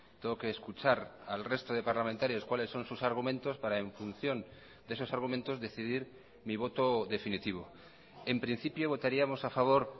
tengo que escuchar al resto de parlamentarios cuáles son sus argumentos para en función de esos argumentos decidir mi voto definitivo en principio votaríamos a favor